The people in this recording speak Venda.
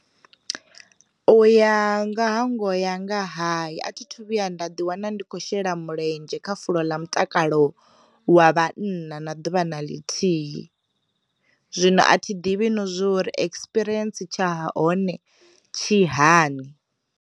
Uya nga hangoho ya nga hai a thi thu vhuya nda ḓi wana ndi khou shela mulenzhe kha fulo ḽa mutakalo wa vhanna na ḓuvha na ḽithihi, zwino a thi ḓivhi na zwori ekspiriensi tsha hone tshi hani.